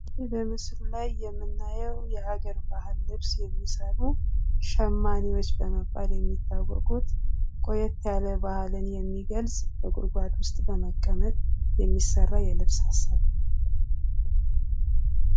ይህ በምስሉ ላይ የምናየው የሀገር ባህል ልብስ የሚሰሩ ሸማኔዎች በመባል የሚታወቁት ቆየት ያለ ባህልን የሚገልጽ በጉድጓድ ውስጥ በመቀመጥ የሚሰራ የልብስ አሰራር ነው።